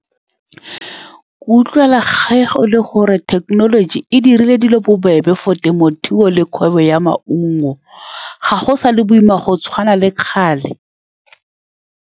Ke utlwela ge go le gore thekenoloji e dirile dilo bobebe for temothuo, le kgwebo ya maungo ga go sa le boima go tshwana le kgale.